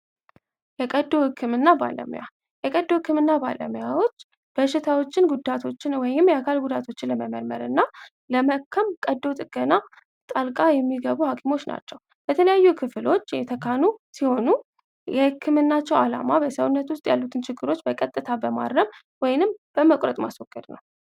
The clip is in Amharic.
የቀዶ ህክምና ባለሙያ የቀዶ ህክምና ባለሙያዎች በሽታዎችን የአካል ላይ ጉዳቶችን ለመመርመር እና የአካል ቀዶ ጥገና የሚያደርጉ ሐኪሞች ናቸው በተለያዩ ክህሎቶች የተካኑ ሲሆኑ ውስጥ ያሉ ችግሮችን በቀጥታ በማረም በመቁረጥ ማስወገድ ነው።